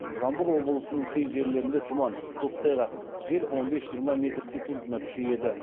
жамбыл облысының кей жерлерінде тұман көктайғақ жел он бес жиырма метр секундына күшейеді